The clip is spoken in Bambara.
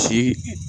Si